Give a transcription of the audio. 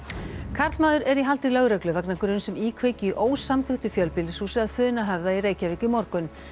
karlmaður er í haldi lögreglu vegna gruns um íkveikju í ósamþykktu fjölbýlishúsi að Funahöfða í Reykjavík í morgun